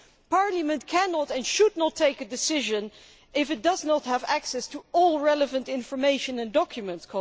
Parliament cannot and should not take a decision if it does not have access to all relevant information and documents.